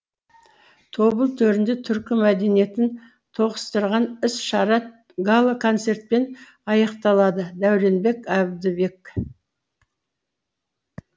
тобыл төрінде түркі мәдениетін тоғыстырған іс шара гала концертпен аяқталады дәуренбек әбдібек